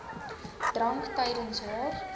drank tydens haar